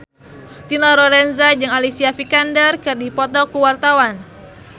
Dina Lorenza jeung Alicia Vikander keur dipoto ku wartawan